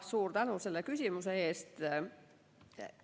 Suur tänu selle küsimuse eest!